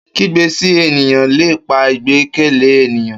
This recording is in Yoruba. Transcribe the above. Kigbe si eniyan le pa igbẹkẹle eniyan